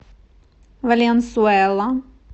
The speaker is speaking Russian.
валенсуэла